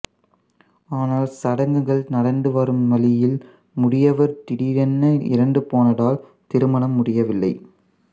ஆனால் சடங்குகள் நடந்து வரும் வழியில் முதியவர் திடீரென இறந்து போனதால் திருமணம் முடியவில்லை